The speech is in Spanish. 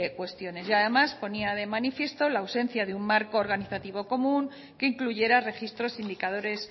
cuestiones y además ponía de manifiesto la ausencia de un marco organizativo común que incluyera registros indicadores